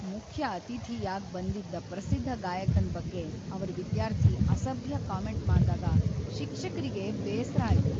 ಮುಖ್ಯ ಅತಿಥಿಯಾಗ್ ಬಂದಿದ್ದ ಪ್ರಸಿದ್ಧ ಗಾಯಕನ್ ಬಗ್ಗೆ ಅವ್ರ ವಿದ್ಯಾರ್ಥಿ ಅಸಭ್ಯ ಕಾಮೆಂಟ್ ಮಾಡ್ದಾಗ ಶಿಕ್ಷಕರಿಗೆ ಬೇಸ್ರ ಆಯ್ತು.